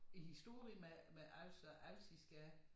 I historie med med Als og alsiske